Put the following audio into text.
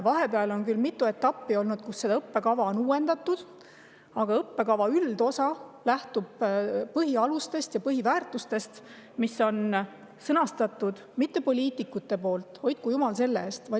Vahepeal on olnud küll mitu etappi, kus seda õppekava on uuendatud, aga õppekava üldosa lähtub põhialustest ja põhiväärtustest, mis on sõnastatud mitte poliitikute poolt – hoidku jumal selle eest!